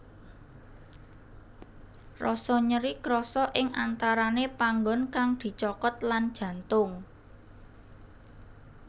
Rasa nyeri krasa ing antarane panggon kang dicokot lan jantung